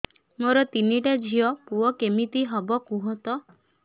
ମୋର ତିନିଟା ଝିଅ ପୁଅ କେମିତି ହବ କୁହତ